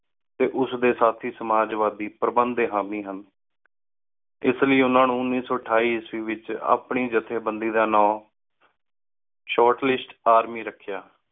D ਉਸ ਡੀ ਸਾਥੀ ਸਮਝ ਵਾਤੀ ਪ੍ਰਬੰਦ ਡੀ ਹਾਮੀ ਹਨ ਏਸ ਲੈ ਓਹਨਾ ਨੌ ਈਸਵੀ ਏਚ ਆਪਣੀ ਜਾਥ੍ਯ ਬੰਦੀ ਦਾ ਨਾਮ Short List Army ਰਖ੍ਯਾ